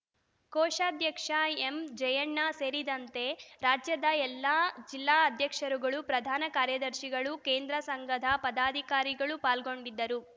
ಕೋಶಾಧ್ಯಕ್ಷ M Jayanna ಸೇರಿದಂತೆ ರಾಜ್ಯದ ಎಲ್ಲ ಜಿಲ್ಲಾ ಅಧ್ಯಕ್ಷರುಗಳು ಪ್ರಧಾನ ಕಾರ್ಯದರ್ಶಿಗಳು ಕೇಂದ್ರ ಸಂಘದ ಪದಾಧಿಕಾರಿಗಳು ಪಾಲ್ಗೊಂಡಿದ್ದರು